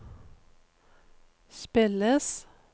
spilles